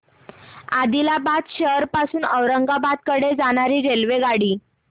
आदिलाबाद शहर पासून औरंगाबाद कडे जाणारी रेल्वेगाडी